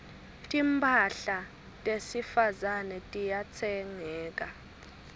timphahla tesifazane tiyatsengeka